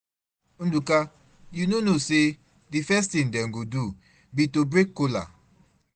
Ndụka, you no know say the first thing dem go do be to break kola.